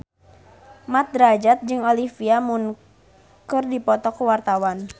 Mat Drajat jeung Olivia Munn keur dipoto ku wartawan